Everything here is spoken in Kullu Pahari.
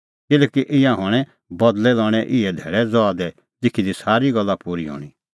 किल्हैकि ईंयां हणैं बदल़ै लणें इहै धैल़ै ज़हा दी लिखी दी सारी गल्ला पूरी हणीं